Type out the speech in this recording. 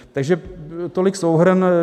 Takže tolik souhrn.